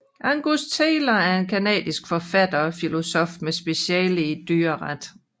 Angus Taylor er en canadisk forfatter og filosof med speciale i dyreret